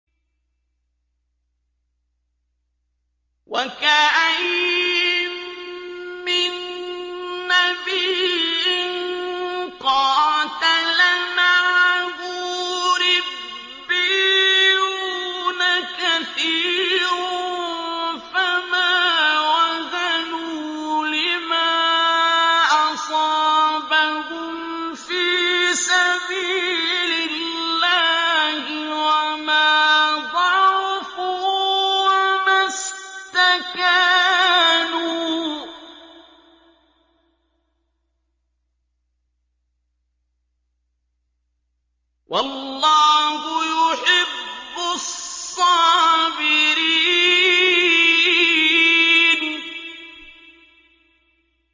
وَكَأَيِّن مِّن نَّبِيٍّ قَاتَلَ مَعَهُ رِبِّيُّونَ كَثِيرٌ فَمَا وَهَنُوا لِمَا أَصَابَهُمْ فِي سَبِيلِ اللَّهِ وَمَا ضَعُفُوا وَمَا اسْتَكَانُوا ۗ وَاللَّهُ يُحِبُّ الصَّابِرِينَ